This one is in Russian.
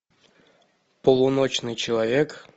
полуночный человек